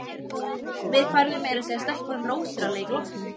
Við færðum meira að segja stelpunum rósir að leik loknum.